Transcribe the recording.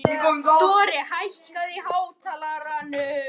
Dorri, hækkaðu í hátalaranum.